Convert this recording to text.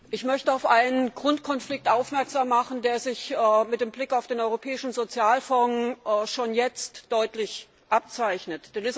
Ich möchte auf einen Grundkonflikt aufmerksam machen, der sich mit Blick auf den Europäischen Sozialfonds schon jetzt deutlich abzeichnet.